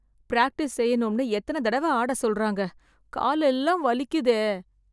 Practice செய்யணும்னு எத்தன தடவ ஆட சொல்றாங்க... காலெல்லாம் வலிக்குதே.